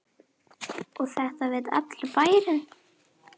Og þetta veit allur bærinn?